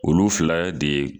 Olu fila de